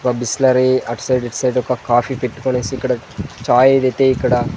ఒక Bisleri outside inside ఒక coffee పెట్టుకొనేసి ఇక్కడ చాయ్ ఏదైతే ఇక్కడ --